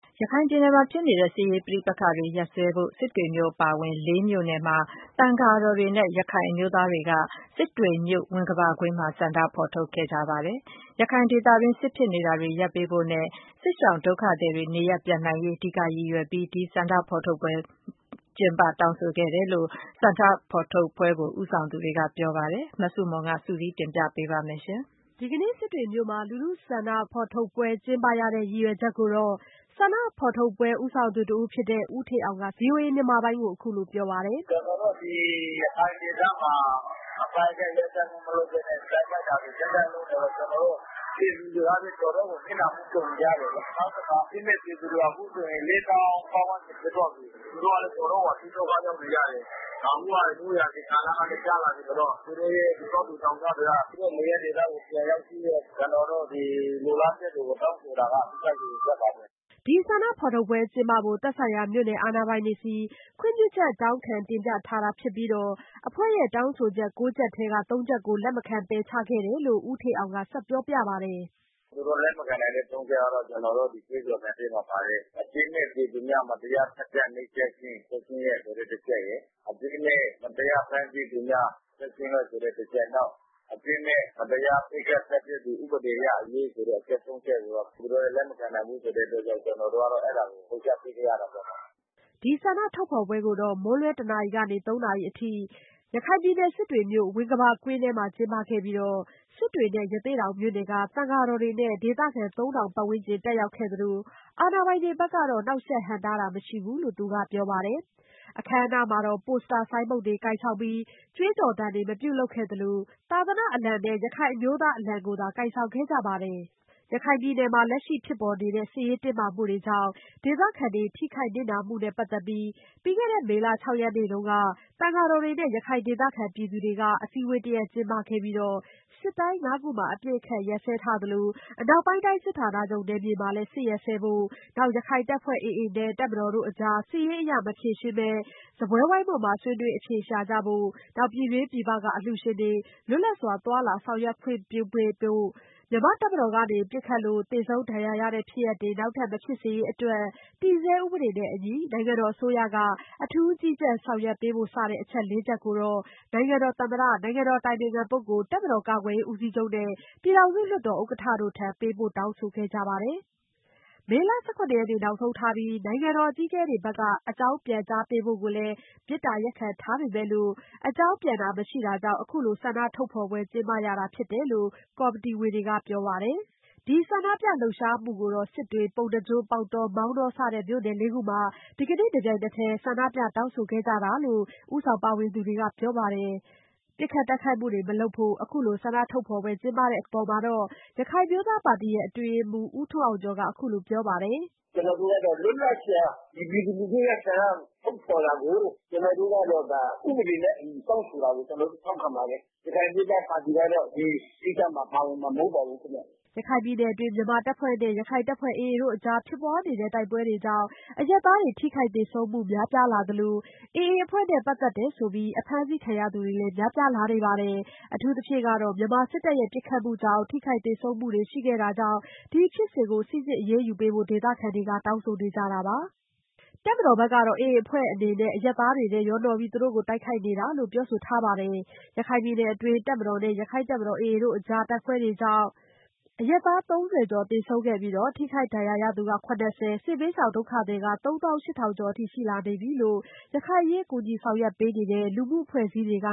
ရခိုင်ပြည်နယ်မှာဖြစ်ပွားနေတဲ့ စစ်ရေးပဋိပက္ခတွေကို ရပ်စဲဖို့စစ်တွေမြို့အပါဝင် မြို့နယ်မှာ သံဃာတော်တွေနဲ့ ရခိုင် အမျိုးသားတွေပါဝင်တဲ့ လူထုဆန္ဒဖေါ်ထုတ်ပွဲတရပ်ကို စစ်တွေမြို့ ဝင်္ကဘာကွင်းမှာ ဆန္ဒဖေါ် ထုတ်ခဲ့ပါတယ်။ရခိုင်ဒေသမှာ စစ်ဖြစ်ပွါးနေမှုကို ရပ်စဲပေးဖို့နဲ့ စစ်ရှောင်ဒုက္ခသည်တွေနေရပ်ပြန်နိုင်ရေးအဓိက ရည်ရွယ် တောင်းဆိုခဲ့တယ်လို့ဆန္ဒဖော်ထုတ်ပွဲဦးဆောင်သူတွေကပြောပါတယ်။ မဆုမွန်က စုစည်းတင်ပြပေးထားပါတယ်။ ဒီကနေ့စစ်တွေမြို့မှာ လူထုဆန္ဒဖေါ်ထုတ်ပွဲကျင်းပရတဲ့ ရည်ရွယ်ချက်ကိုတော့ ဆန္ဒဖော်ထုတ်ပွဲ ဦးဆောင်သူတစ်ဦးဖြစ်သူ ဦးအောင်ဌေးကဗွီအိုအေကိုအခုလိုပြောပါတယ်။ “ကျွန်တော်တို့ဒီရခိုင်ဒေသမှာ အပစ်ခတ်ရပ်စဲမှု မလုပ်ဘဲနဲ့ စစ်တိုက်တာတွေဆက်တိုက်လုပ်နေလို့ ကျွန်တော်တို့ ပြည် သူတွေကဘဲ တော်တော့ကိုနစ်နာမှုကြုံနေကြတယ်။ နောက်တခါ အပြစ်မဲ့ပြည်သူတွေ အခုအခါ ပပတ်ဝန်းကျင် ဖြစ်သွားပြီး။ သူတို့တော်တော်ကို ဒုက္ခရောက်နေကြတယ်။ အခုက မိုးရာသီကာလကလဲ ကျလာပြီး။ ဆိုတော့ ကျွန်တော်တို့ရဲ့ တောသူတောင်သားတွေက သူတို့ရဲ့နေရပ်ဒေသကို ပြန်ရောက်ပြီးတော့ ကျွန်တော်တို့ လိုလားချက်တွေ တောင်းဆိုတာက အဓိကရည်ရွယ်ချက်ပါဘဲ။” ဒီဆန္ဒဖေါ်ထုတ်ပွဲကျင်းပဖို့ သက်ဆိုင်ရာမြို့နယ် အာဏာတွေဆီ ခွင့်ပြုချက် တောင်းခံတင်ပြထားတာ ဖြစ်ပြီး အဖွဲ့တောင်း ဆိုချက် ချက်ထဲက ချက်ကို လက်မခံပယ်ချ ခဲ့တယ်လို့ ဦးဌေးအောင်ကဆက်ပြောပါတယ်။ “သူတို့လက်မခံနိုင်တဲ့ ချက်ကတော့ ကျွန်တော်တို့ကြွေးကြော်သံထဲမှာပါတဲ့ အပြစ်မဲ့ပြည်သူများ မတရားနှိပ်စက် သတ် ဖြတ်ခြင်းချက်ချင်းရပ် ဆိုတဲ့တချက်ရယ်။ အပြစ်မဲ့ မတရားဖမ်းဆီးသူများ ချက်ချင်းလွှတ် ဆိုတဲ့တချက်ရယ် ၊ နောက် အပြစ်မဲ့ မတရား ပစ်ခတ်သတ်ဖြတ်သူ ဥပဒေအရ အရေးယူ အချက် ချက်ကိုတော့ သူတို့ကလက်မခံနိုင်ဘူးဆိုတဲ့အတွက် ကြောင့်ကျွန်တော်တို့က အဲတာကို ဖယ်ရှားပေးခဲ့ ရတယ်ပေါ့နော်။” ဒီဆန္ဒဖေါ်ထုတ်ပွဲကို မွန်းလွှဲတနာရီကနေ နာရီအထိ စစ်တွေမြို့ ဝင်္ကဘာကွင်းမှာကျင်းပခဲ့ပြီး စစ်တွေနဲ့ ရသေ့တောင် မြို့နယ်က သံဃာတော်တွေ နဲ့ဒေသခံ ဝန်းကျင်တက်ရောက်ခဲ့သလို အာဏာပိုင်တွေကနေ နှောက်ယှက်ဟန့် တားတာမရှိဘူးလို့သူက ပြောပါတယ်။ အခမ်းအနားမှာ ပိုစတာဆိုင်းပုဒ်ကိုင်ဆောင်တာ ကြွေးကြော်သံတွေမပြုလုပ်ခဲ့သလို သာသနာ့အလံနဲ့ ရခိုင်အမျိုးသား အလံကိုသာ ကိုင်ဆောင်ခဲ့ပါတယ်။ ရခိုင်ပြည်နယ်မှာ လက်ရှိဖြစ်ပေါ်နေတဲ့ စစ်ရေးတင်းမာမှုကြောင့် ဒေသခံတွေ ထိခိုက်နစ်နာနေမှုနဲ့ ပက်သက်ပြီး မေလ ရက်နေ့က သံဃာတော်တွေနဲ့ရခိုင်ဒေသခံပြည်သူတွေကနေ အစည်းဝေးတရပ် ကျင်းပခဲ့ပြီးတော့ စစ်တိုင်း ၅ ခုမှာ အပစ်အခတ်ရပ်စဲထားသလို အနောက်ပိုင်းတိုင်း စစ်ဌာနချုပ်နယ်မြေမှာလည်း ရပ်စဲဖို့၊ နောက် ရခိုင်တပ်ဖွဲ့AAနဲ့ တပ်မတော် တို့အကြားစစ်ရေးအရ မဖြေရှင်းဘဲ စားပွဲဝိုင်းပေါ်ဆွေးနွေးအဖြေ ရှာကြဖို့၊ ပြည်တွင်း ပြည်ပမှ အလှူရှင်တွေကို လွတ် လပ်စွာသွားလာ ဆောင်ရွက်ခွင့်ပြုပေးဖို့၊ မြန်မာ့တပ်မတော်ကနေ ပစ်ခတ်လို့ သေဆုံးဒဏ်ရာရတဲ့ ဖြစ်ရပ်တွေ နောက် ထပ် မဖြစ်စေရေးအတွက် တည်ဆဲဥပဒေနဲ့အညီ နိုင်ငံတော်အစိုးရမှ အထူးကြီးကြပ် ဆောင်ရွက်ပေးဖို့ အချက် ချက်ကို နိုင်ငံတော်သမ္မတ၊ နိုင်ငံတော် အတိုင်ပင်ခံပုဂ္ဂိုလ်၊ တပ်မတော် ကာကွယ်ရေး ဦးစီးချုပ်နဲ့ ပြည်ထောင်စုလွှတ် တော် ဥက္ကဋ္ဌတို့ထံ ပေးပို့တောင်းဆိုခဲ့ပါတယ်။ မေလ ၁၇ ရက်နေ့ နောက်ဆုံးထားပြီး နိုင်ငံတော် အကြီးအကဲတွေက အကြောင်းပြန်ပေးဖို့ကိုလဲ မေတ္တာရပ်ခံထားပေမယ့် ကြောင်းပြန်တာမရှိတာကြောင့် အခုလိုဆန္ဒထုတ်ဖော်ပွဲ ကျင်းပရတယ်လို့ကော်မီတီဝင်တွေကပြောပါတယ်။ အဲဒီ ဆန္ဒပြလှုပ်ရှားမှုကို စစ်တွေ၊ ပုဏ္ဏားကျွန်း၊ ပေါက်တော၊ မောင်တော စတဲ့ မြို့နယ် ၄ ခုမှာ ဒီကနေ့ တပြိုင်တည်း ဆန္ဒပြတောင်းဆိုခဲ့တယ်လို့ ဦးဆောင်ပါဝင်သူတွေက ပြောပါတယ်။ အခုလို ပစ်ခတ်တိုက်ခိုက်မှုတွေ မလုပ်ဖို့ဆန္ဒဖေါ်ထုတ်ပွဲကျင်းပတဲ့အပေါ် ရခိုင်အမျိုးသားပါတီ အတွင်းရေးမှူးဦးထွန်း အောင်ကျော်ကအခုလိုပြောပါတယ်။ “ကျွန်တော်တို့ကတော့လွတ်လပ်စွာ ဒီပြည်သူလူထုရဲ့ဆန္ဒထုတ်ဖေါ်တာကို ကျွန်တော်တို့ကတော့ ဒါ ဥပဒေနဲ့ အညီ တောင်းဆိုတာကိုကျွန်တော်တို့ထောက်ခံပါတယ်။ ရခိုင်အမျိုးသားပါတီကတော့ ဒီကိစ္စမှာ ပါဝင်မှာတော့ မဟုတ်ပါဘူး ခင်ဗျ။” ရခိုင်ပြည်နယ်အတွင်း မြန်မာတပ်ဖွဲ့နဲ့ ရခိုင်တပ်ဖွဲ့AAတို့အကြားဖြစ်ပွား နေတဲ့ တိုက်ပွဲတွေကြောင့်အရပ်သားတွေ ထိခိုက်သေဆုံးမှုတွေများပြားလာနေသလို AAအဖွဲ့နဲ့ ပက်သက်သူဆိုပြီးအဖမ်းဆီးခံရသူတွေများပြားလာနေပါတယ်။ အထူးသဖြင့်မြန်မာစစ်တပ်ရဲ့ပစ်ခတ်မှုကြောင့် ထိခိုက်သေဆုံးမှု ရှိခဲ့တာကြောင့် ဒီဖြစ်စဉ်တွေကို စိစစ် အရေးယူပေးဖို့ ဒေသခံတွေကတောင်းဆိုခဲ့ကြတာပါ။ တပ်မတော်ဖက်ကတော့ AAအဖွဲ့အနေနဲ့ အရပ်သားတွေထဲရောပြီး သူတို့ကို တိုက်ခိုက်နေတာလို့ မြန်မာစစ်တပ်ဖက်က ပြောဆိုခဲ့ပါတယ်။ ရခိုင်ပြည်နယ်အတွင်း တပ်မတော်နှင့် ရခိုင်တပ်တော် တပ်ဖွဲ့အကြား တိုက်ပွဲကြောင့် အရပ်သား ကျော် သေဆုံးခဲ့ပြီး ထိခိုက်ဒဏ်ရာရရှိသူ ၊ စစ်ဘေးရှောင့်ဒုက္ခသည် ၃၈၀၀၀ ကျော် ရှိနေတယ်လို့လဲ ရခိုင်အရေးကူညီ ဆောင်ရွက်နေတဲ့ လူမှုအဖွဲ့အစည်းတွေက